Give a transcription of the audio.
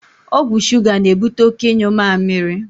Ọgwụ shuga na ebute oké ịnyu mamịrị